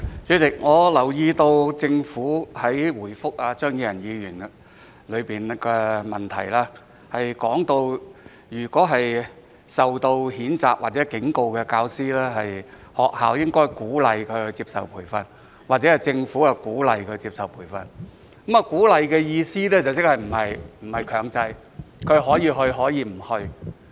主席，我留意到政府在答覆張宇人議員的質詢中，表示就那些被教育局譴責或警告的教師，學校應該鼓勵他們接受培訓，或政府鼓勵他們接受培訓；而鼓勵的意思是並非強制，他們可以接受培訓，也可以不接受培訓。